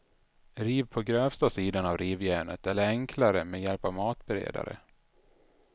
Riv på grövsta sidan av rivjärnet eller enklare med hjälp av matberedare.